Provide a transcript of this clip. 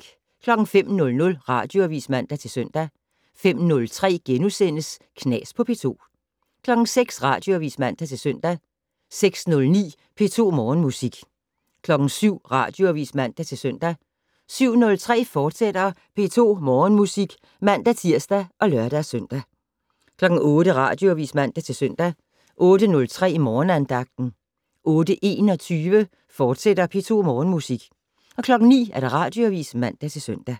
05:00: Radioavis (man-søn) 05:03: Knas på P2 * 06:00: Radioavis (man-søn) 06:09: P2 Morgenmusik 07:00: Radioavis (man-søn) 07:03: P2 Morgenmusik, fortsat (man-tir og lør-søn) 08:00: Radioavis (man-søn) 08:03: Morgenandagten 08:21: P2 Morgenmusik, fortsat 09:00: Radioavis (man-søn)